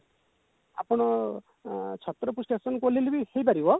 ଆପଣ ଅ ଛତ୍ରପୁର station କୁ ଓହ୍ଲେଇଲେ ବି ହେଇପାରିବ